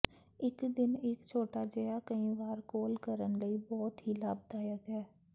ਇੱਕ ਦਿਨ ਇੱਕ ਛੋਟਾ ਜਿਹਾ ਕਈ ਵਾਰ ਕੋਲ ਕਰਨ ਲਈ ਬਹੁਤ ਹੀ ਲਾਭਦਾਇਕ ਹੈ